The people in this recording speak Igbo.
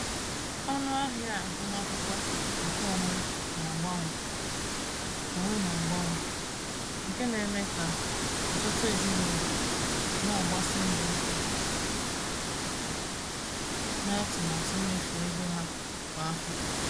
Ọnụ ahịa agụmakwụkwọ nke onwe na-abawanye, onwe na-abawanye, nke na-eme ka ọtụtụ ezinụlọ na-agbasi mbọ ike n’atụmatụ mmefu ego ha kwa afọ.